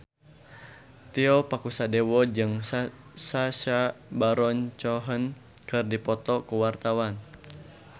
Tio Pakusadewo jeung Sacha Baron Cohen keur dipoto ku wartawan